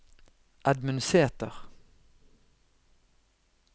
Edmund Sæter